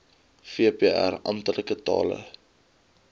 vpr amptelike tale